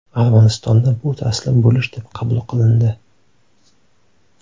Armanistonda bu taslim bo‘lish deb qabul qilindi.